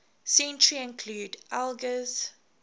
century include elgar's